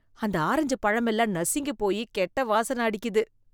அந்த ஆரஞ்சு பழமெல்லாம் நசுங்கி போயி கெட்ட வாசனை அடிக்குது.